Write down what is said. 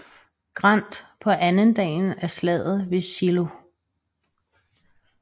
Grant på andendagen af Slaget ved Shiloh